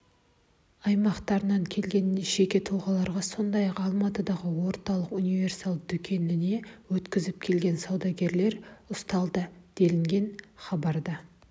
аймақтарынан келген жеке тұлғаларға сондай-ақ алматыдағы орталық универсал дүкеніне өткізіп келген саудагерлер ұсталды делінген хабарда